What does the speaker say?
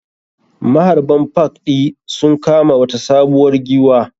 Maharɓan park ɗi sun kama wata sabuwar giwwa.